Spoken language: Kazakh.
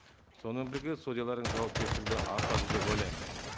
сонымен бірге судьялардың жауапкершілігі де артады деп ойлаймын